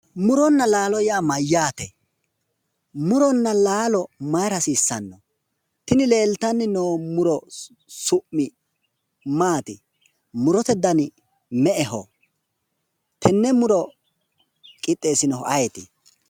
Muronna laalo yaa mayyaate? Muronna laalo mayira hasiissanno? Tini leeltanni noo muro su'mi maati? Murote dani me"eho? Qixxeessinohu ayeeti?